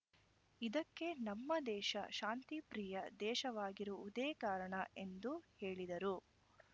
ಇದಕ್ಕೆ ನಮ್ಮ ದೇಶ ಶಾಂತಿಪ್ರಿಯ ದೇಶವಾಗಿರುವುದೇ ಕಾರಣ ಎಂದು ಹೇಳಿದರು